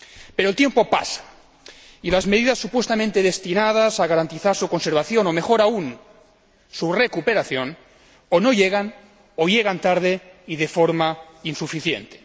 Pero el tiempo pasa y las medidas supuestamente destinadas a garantizar su conservación, o mejor aún, su recuperación, o no llegan, o llegan tarde y de forma insuficiente.